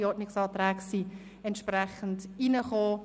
Die Ordnungsanträge sind entsprechend verfasst worden.